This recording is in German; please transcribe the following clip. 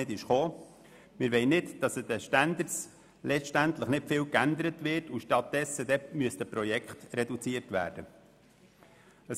Wir wollen letztendlich nicht, dass an den Standards viel geändert wird, sodass die Projekte reduziert werden müssten.